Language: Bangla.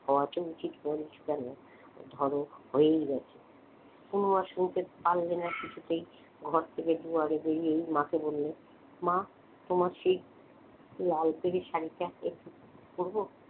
হওয়া তো উচিত ধরো হয়েই গেছে শুনতে পারলে না কিছুতেই ঘর থেকে দুয়ারে বেরিয়েই মাকে বললে মা তোমার সেই লাল পেড়ে শাড়িটা একটু পরবো?